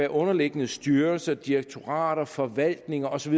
underliggende styrelser direktorater forvaltninger og så